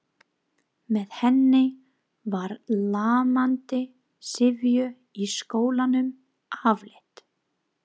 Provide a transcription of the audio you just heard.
Með henni var lamandi syfju í skólanum aflétt.